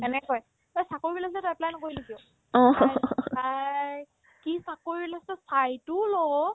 এনেক কই তই চাকৰি ওলাইছে তই apply নকৰিলি কিয় bhai bhai কি চাকৰি ওলাইছে চাইতো ল'